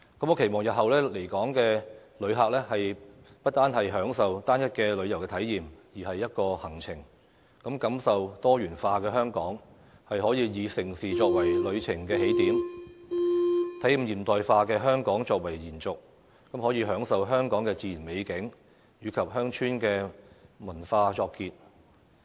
我期望日後來港的旅客，不單是享受單一的旅遊體驗，而是一個行程，感受多元化的香港，可以以盛事作為旅程的起點，體驗現代化的香港作為延續，再以享受香港的自然美景及鄉村文化作結。